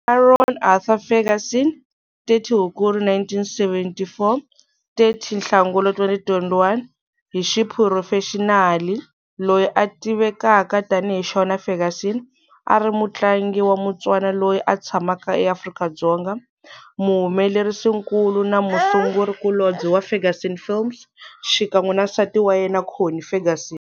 Aaron Arthur Ferguson 30 Hukuri 1974-30 Nhlangula 2021, hi xiphurofexinali loyi a tivekaka tanihi Shona Ferguson, a ri mutlangi wa Motswana loyi a tshamaka eAfrika-Dzonga, muhumelerisinkulu na musungurikulobye wa Ferguson Films, xikan'we na nsati wa yena, Connie Ferguson.